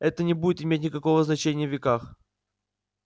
это не будет иметь никакого значения в веках